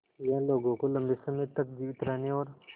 यह लोगों को लंबे समय तक जीवित रहने और